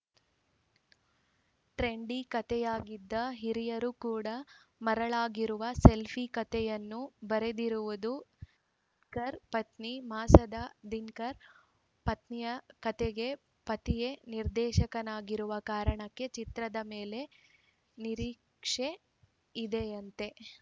trendy ಕೆತಯಾಗಿದ್ದು ಹಿರಿಯರು ಕೂಡ ಮರಳಾಗಿರುವ ಸೆಲ್ಫಿ ಕತೆಯನ್ನು ಬರೆದಿರುವುದು ದಿನಕರ್‌ ಪತ್ನಿ ಮಾನಸ ದಿನಕರ್‌ ಪತ್ನಿಯ ಕತೆಗೆ ಪತಿಯೇ ನಿರ್ದೇಶಕನಾಗಿರುವ ಕಾರಣಕ್ಕೆ ಚಿತ್ರದ ಮೇಲೆ ನಿರೀಕ್ಷೆ ಇದೆಯಂತೆ